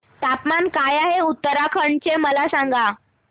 तापमान काय आहे उत्तराखंड चे मला सांगा